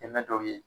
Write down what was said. Dɛmɛ dɔw ye